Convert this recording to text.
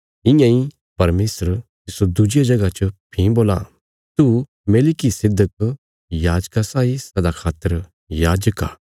इयां इ परमेशर तिस्सो दुज्जिया जगह च भीं बोलां तू मेलिकिसिदक याजका साई सदा खातर याजक आ